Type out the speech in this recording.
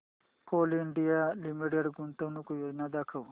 Coal India limited गुंतवणूक योजना दाखव